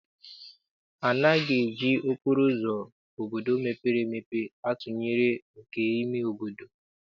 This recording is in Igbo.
Anaghị eji okporo ụzọ obodo mepere emepe atụnyere nke ime obodo.